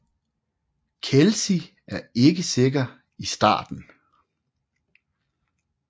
Kelsi er ikke sikker i starten